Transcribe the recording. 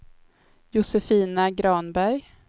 Josefina Granberg